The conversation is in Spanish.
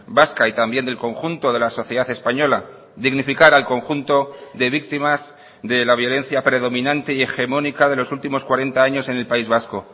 vasca y también del conjunto de la sociedad española dignificar al conjunto de víctimas de la violencia predominante y hegemónica de los últimos cuarenta años en el país vasco